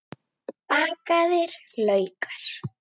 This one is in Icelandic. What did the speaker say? Bakaðir laukar